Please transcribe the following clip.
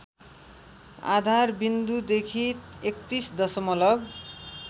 आधारविन्दुदेखि ३१ दशमलव